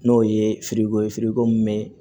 N'o ye ye ko min bɛ